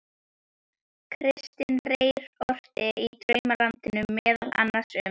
Kristinn Reyr orti í Draumalandinu meðal annars um